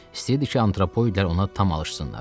İstəyirdi ki, antropoidlər ona tam alışsınlar.